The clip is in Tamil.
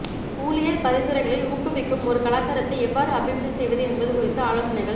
ஊழியர் பரிந்துரைகளை ஊக்குவிக்கும் ஒரு கலாச்சாரத்தை எவ்வாறு அபிவிருத்தி செய்வது என்பது குறித்த ஆலோசனைகள்